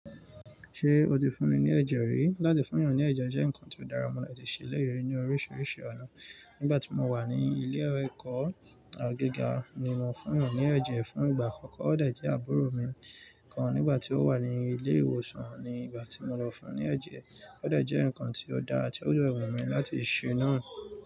Ṣé o ti fún ni ní ẹ̀jẹ̀ rí? Látí fún èyàn ní ẹ̀jẹ̀ jẹ́ nkan tí ó dára mọ́ latí ṣe léyè ní orísìírísìí ọ̀nà. Nígbà tí mo wà ní ilé-ẹ̀kọ́ gíga ni mo fún èyàn ní ẹ̀jẹ̀ fún ìgbà àkọ́kọ́. Ó dà jẹ́ àbúrò mi kan nígbà tí ó wà ní ilé-ìwòsàn ni ìgbà tí mo lọ fún ní ẹ̀jẹ̀. Ó de jẹ́ nǹkan tí ó dára ti o de wumi láti ṣe náà.